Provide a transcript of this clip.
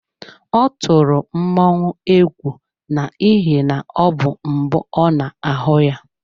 Ọ tụrụ mmọnwụ egwu n'ihi na ọ bụ mbụ ọ na-ahụ ya.